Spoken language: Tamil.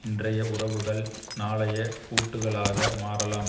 இன்றைய உறவுகள் நாளைய கூட்டுக்களாக மாறலாம்